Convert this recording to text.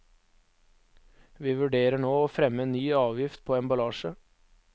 Vi vurderer nå å fremme en ny avgift på emballasje.